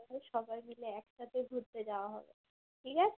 সবাই মিলে একসাথে ঘুরতে যাওয়া হবে ঠিক আছে